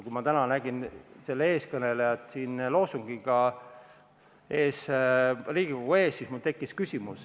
Kui ma täna nägin selle eeskõnelejat loosungiga siin Riigikogu ees, siis mul tekkis küsimus.